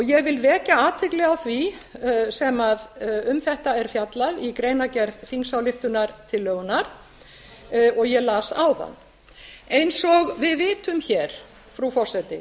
ég vil vekja athygli á því sem um þetta er fjallað í greinargerð þingsályktunartillögunnar og ég las áðan eins og við vitum hér frú forseti